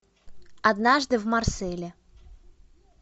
однажды в марселе